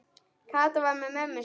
Kata var með mömmu sinni.